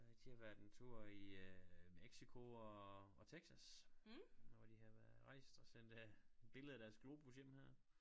De har været en tur i øh Mexico og og Texas og de har været rejst og sendt et billede af deres globus hjem her